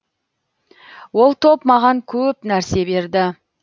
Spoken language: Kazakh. ол топ маған көп нәрсе берді